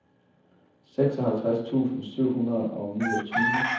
seksoghalvtreds tusind syv hundrede og niogtyve